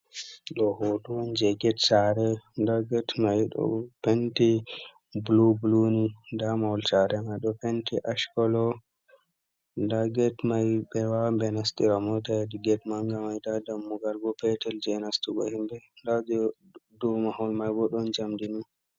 Ɗo hoto on je gate saare nda gate mai ɗo penti blu blu ni, nda mahol saare mai ɗo penti ash kolo, nda gate mai ɓe wawan ɓe nastira mota hedi gate manga mai, nda dammugal bo petal je nastugo himɓe, nda je dou mahol mai bo ɗon jamdi ni.